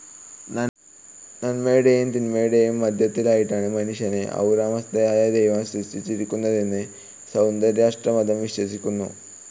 നന്മയുടെയും തിന്മയുടെയും മധ്യത്തിലായിട്ടാണ് മനുഷ്യനെ അഹുറ മസ്‌ദയായ ദൈവം സൃഷ്ടിച്ചിരിക്കുന്നതെന്നു സൗരാഷ്ട്രമതം വിശ്വസിക്കുന്നു.